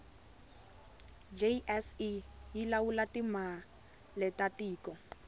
jse yilawula timaletatiko